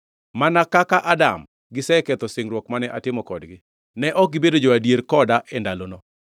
Mana kaka Adam, giseketho singruok mane atimo kodgi, ne ok gibedo jo-adier koda e ndalono.